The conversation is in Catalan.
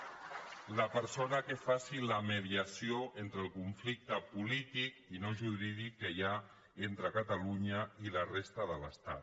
la persona que faci la mediació en el conflicte polític i no jurídic que hi ha entre catalunya i la resta de l’estat